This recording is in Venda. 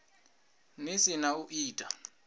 ḽi si ḽa u ita